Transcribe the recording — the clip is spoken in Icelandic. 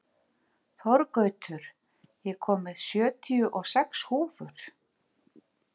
Þorgautur, ég kom með sjötíu og sex húfur!